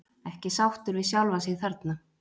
Ekki sáttur við sjálfan sig þarna.